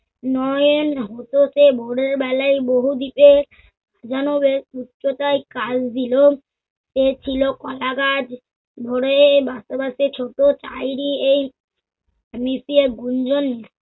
নয়েন হতে হতে ভোরের বেলায় বহু দিকে জানা যায় উচ্চতায় কাল-বিলোপ, এ ছিল কলাগাছ। ভোরে বাছে বাছে ছোট তাইরি এই মিশিয়ে গুঞ্জন